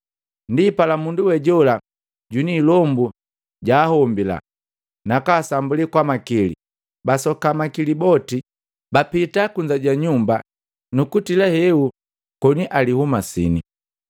Ndipala mundu we jola jwini ilombu jahombila, nakasambuli kwamakili, basoka makili boti, bapita kunza ja nyumba nukutila hehu koni alihumasini.